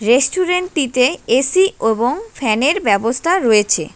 রেস্টুরেন্টটিতে AC এবং ফ্যানের ব্যবস্থা রয়েছে।